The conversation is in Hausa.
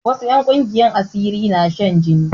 Wasu 'yan ƙungiyar asiri na shan jini